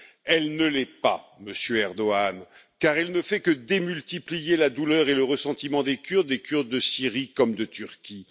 Elle ne l'est pas, Monsieur Erdogan, car elle ne fait que démultiplier la douleur et le ressentiment des Kurdes, des Kurdes de Syrie comme de Turquie.